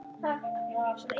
Þín, Íris.